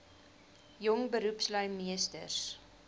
jong beroepslui meesters